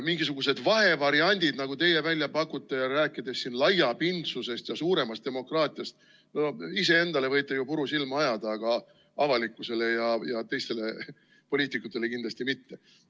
Mingisugused vahevariandid, nagu teie välja pakute, rääkides siin laiapindsusest ja suuremast demokraatiast – no iseendale võite ju puru silma ajada, aga avalikkusele ja teistele poliitikutele kindlasti mitte.